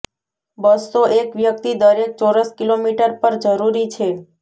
બસ્સો એક વ્યક્તિ દરેક ચોરસ કિલોમીટર પર જરૂરી છે